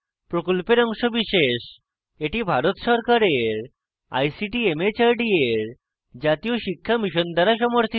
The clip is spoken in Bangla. এটি ভারত সরকারের ict mhrd এর জাতীয় শিক্ষা mission দ্বারা সমর্থিত